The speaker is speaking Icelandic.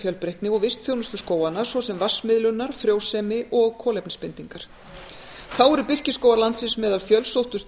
fjölbreytni og vistþjónustu skóganna svo sem vatnsmiðlunar frjósemi og kolefnisbindingar þá eru birkiskógar landsins meðal fjölsóttustu